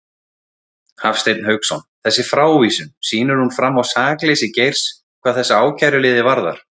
Hafstein Hauksson: Þessi frávísun, sýnir hún fram á sakleysi Geirs hvað þessa ákæruliði varðar?